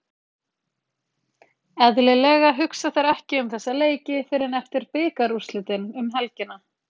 Eðlilega hugsa þeir ekki um þessa leiki fyrr en eftir bikarúrslitin um helgina.